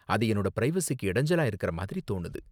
அது என்னோட ப்ரைவசிக்கு இடைஞ்சலா இருக்குற மாதிரி தோணுது.